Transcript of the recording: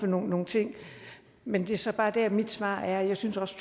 nogle ting men det er så bare der mit svar er jeg synes også